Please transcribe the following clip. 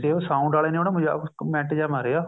ਤੇ ਉਹ sound ਵਾਲੇ ਨੇ ਉਹਨੂੰ ਮਜ਼ਾਕ ਵਿੱਚ comment ਜਾ ਮਾਰਿਆ